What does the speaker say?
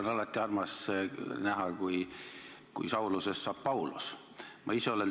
Mul on alati armas näha, kui Saulusest saab Paulus.